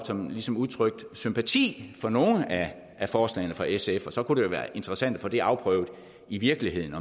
som ligesom udtrykte sympati for nogle af forslagene fra sf og så kunne det være interessant at få det afprøvet i virkeligheden